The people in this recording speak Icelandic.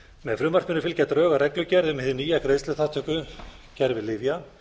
með frumvarpinu fylgja drög að reglugerð um hið nýja greiðsluþátttökukerfi lyfja